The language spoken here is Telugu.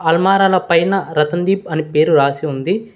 అల్మారాల పైన రతన్ దీప్ అనే పేరు రాసి ఉంది.